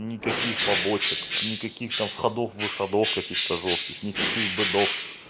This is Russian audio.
никаких побочек никаких там входов выходов каких-то жёстких никаких бэдов